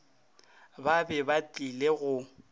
ba be ba tlile go